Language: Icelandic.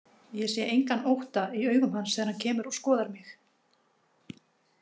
Ég sé engan ótta í augum hans þegar hann kemur og skoðar mig.